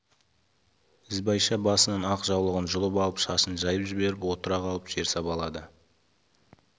ізбайша басынан ақ жаулығын жұлып алып шашын жайып жіберіп отыра қалып жер сабалады